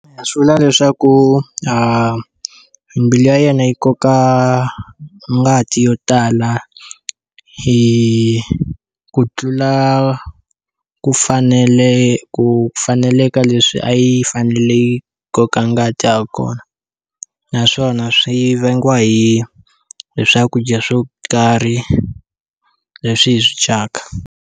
Swi vula leswaku mbilu ya yena yi koka ngati yo tala hi ku tlula ku fanele ku faneleka leswi a yi fanele yi koka ngati ha kona naswona swi vangiwa hi hi swakudya swo karhi leswi hi swi dyaka